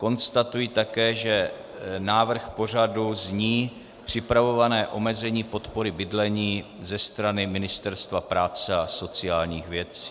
Konstatuji také, že návrh pořadu zní: Připravované omezení podpory bydlení ze strany Ministerstva práce a sociálních věcí.